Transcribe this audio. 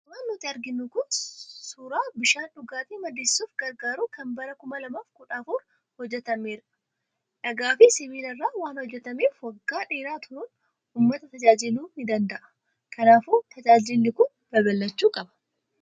Suuraan nutti argamu kun suuraa bishaan dhugaatii maddisiisuuf gargaaru kan bara 2014 hojjetameerudha. Dhagaa fi sibiila irraa waan hojjetameef, waggaa dheeraa turuun uummata tajaajiluu ni danda'a. Kanaafuu tajaajilli kun babal'achuu ni qaba.